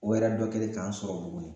O yɛrɛ dɔ kɛlen k'an sɔrɔ buguni